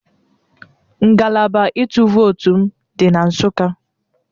Ngalaba ịtụ vootu m dị na Nsụka